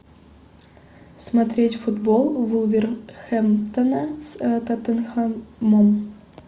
смотреть футбол вулверхэмптона с тоттенхэмом